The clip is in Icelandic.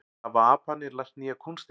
Hafa aparnir lært nýjar kúnstir